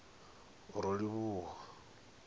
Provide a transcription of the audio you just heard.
rolivhuwa